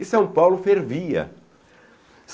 E São Paulo fervia.